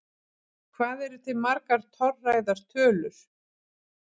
Hvað eru til margar torræðar tölur?